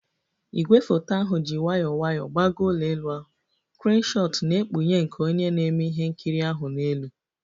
Igwefoto ahụ ji nwayọọ nwayọọ gbagoo ụlọ elu ahụ, kreenu shot na-ekpughe nke onye na-eme ihe nkiri ahụ n'elu